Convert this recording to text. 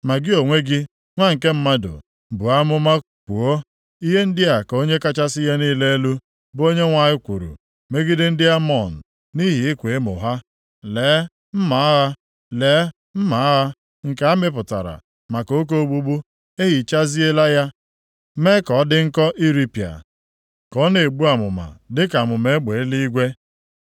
“Ma gị onwe gị, Nwa nke mmadụ, buo amụma kwuo, ‘Ihe ndị a ka Onye kachasị ihe niile elu, bụ Onyenwe anyị kwuru megide ndị Amọn nʼihi ịkwa emo ha: “ ‘Lee mma agha, lee mma agha, nke a mịpụtara maka oke ogbugbu. E hichaziela ya mee ka ọ dị nkọ iripịa, ka ọ na-egbu amụma dịka amụma egbe eluigwe.